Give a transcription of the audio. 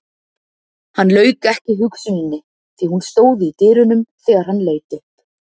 Hann lauk ekki hugsuninni því hún stóð í dyrunum þegar hann leit upp.